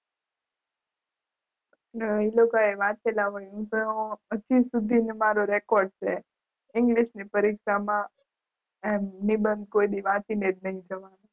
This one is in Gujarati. હા એ લોકોએ વાંચેલા હોય હજુ સુધીના મારો રેકોર્ડ છે. ઇંગ્લિશની પરીક્ષામાં એમ નિબંધ કોઈદી વાંચીને જ નહીં જવાનું.